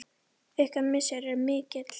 Ykkar missir er mikil.